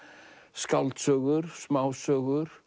skáldsögur smásögur